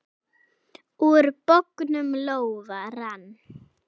Úr bognum lófa rann.